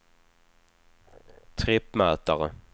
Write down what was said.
trippmätare